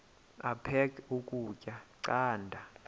aphek ukutya canda